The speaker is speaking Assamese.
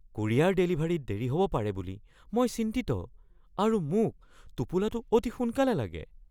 কুৰিয়াৰ ডেলিভাৰীত দেৰি হ'ব পাৰে বুলি মই চিন্তিত আৰু মোক টোপোলাটো অতি সোনকালে লাগে।